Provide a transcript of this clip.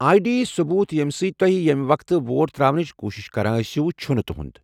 آے D ثبوت ییٚمہِ سۭتۍ تُہۍ ییمہِ وقتہٕ ووٹ ترٛاونٕچ کوشِش کران ٲسِو چُھنہٕ تُہنٛد۔